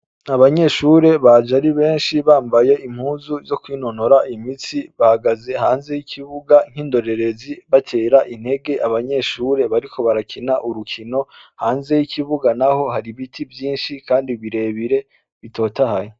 Abanyeshure baje ari beshi bambaye impuzu zokwinonora imitsi bahagaze hanze y'ikibuga nk'indorererezi batera intege abanyeshure bariko barakina urukino hanze y'ikibuga naho hari ibiti vyinshi kandi birebire bitotahaye.